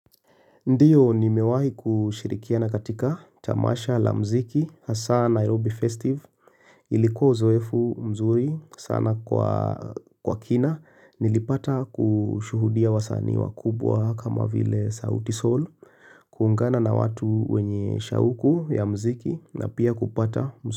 Ndiyo nimewahi kushirikiana katika tamasha la mziki hasa Nairobi Festive. Ilikuwa uzoefu mzuri sana kwa kina. Nilipata kushuhudia wasanii wakubwa kama vile sauti Sol. Kuungana na watu wenye shauku ya mziki na pia kupata.